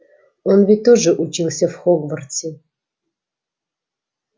он ведь тоже учился в хогвартсе